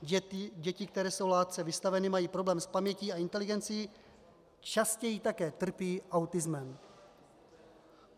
Děti, které jsou látce vystaveny, mají problémy s pamětí a inteligencí, častěji také trpí autismem.